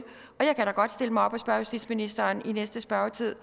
godt stille mig op og spørge justitsministeren i næste spørgetid